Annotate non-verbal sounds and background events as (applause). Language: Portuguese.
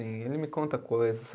(unintelligible) Ele me conta coisas.